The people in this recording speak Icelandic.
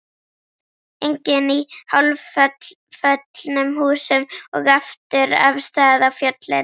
Enginn í hálfföllnum húsum og aftur af stað á fjöllin.